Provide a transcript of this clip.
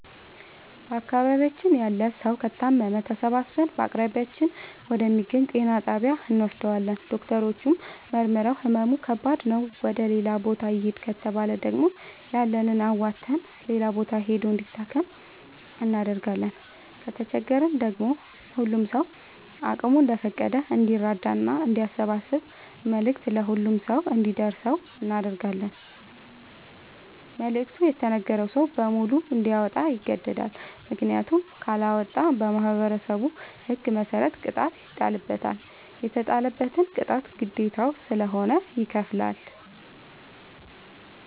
በአካባቢያችን ያለ ሠዉ ከታመመ ተሠባስበን በአቅራቢያችን ወደ ሚገኝ ጤና ጣቢያ እንወስደዋለን። ዶክተሮች መርምረዉ ህመሙ ከባድ ነዉ ወደ ሌላ ቦታ ይህድ ከተባለ ደግሞ ያለንን አዋተን ሌላ ቦታ ሂዶ እንዲታከም እናደርጋለን። ከተቸገረ ደግሞ ሁሉም ሰዉ አቅሙ እንደፈቀደ እንዲራዳና አንዲያሰባስብ መልዕክቱ ለሁሉም ሰው አንዲደርሰው እናደርጋለን። መልዕክቱ የተነገረዉ ሰዉ በሙሉ እንዲያወጣ ይገደዳል። ምክንያቱም ካለወጣ በማህበረሠቡ ህግ መሰረት ቅጣት ይጣልበታል። የተጣለበትን ቅጣት ግዴታዉ ስለሆነ ይከፍላል።